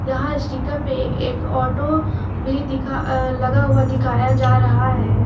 यहां स्टीकर पे एक ऑटो भी दिखा लगा हुआ दिखाया जा रहा है।